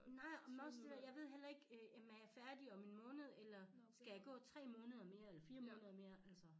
Nej men også det dér jeg ved heller ikke øh jamen er jeg færdig om en måned eller skal jeg gå 3 måneder mere eller 4 måneder mere altså